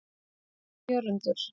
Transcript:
Jörundur